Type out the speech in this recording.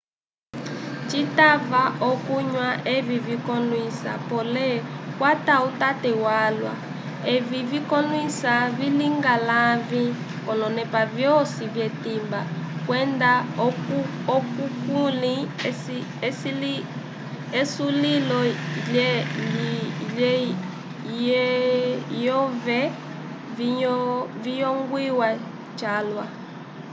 citava okunywa evi vikollwisa pole kwata utate walwa evi vikolwisa vilinga lãvi k'olonepa vyosi vyetimba kwenda okukulĩ esulilo lyove ciyongwiwa calwa